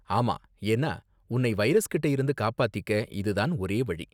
ஆமா, ஏன்னா உன்னை வைரஸ் கிட்டே இருந்து காப்பாத்திக்க இது தான் ஒரே வழி.